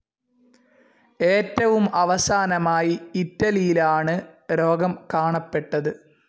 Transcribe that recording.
ഏറ്റവും അവസാനമായി ഇറ്റലിയിലാണ് രോഗം കാണപ്പെട്ടത്.